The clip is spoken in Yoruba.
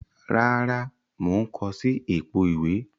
Rárá, mo n ko si èpo ìwé